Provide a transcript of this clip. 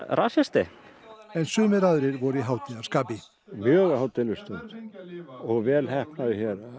rasisti en sumir aðrir voru í hátíðarskapi mjög hátíðleg stund og vel heppnað